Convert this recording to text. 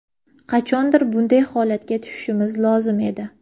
Qachondir bunday holatga tushishimiz lozim edi.